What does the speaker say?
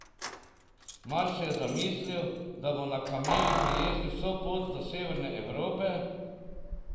Mar si je zamislil, da bo na kameli prejezdil vso pot do severne Evrope?